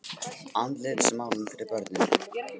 Andlitsmálun fyrir börnin.